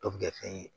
Dɔ bi kɛ fɛn ye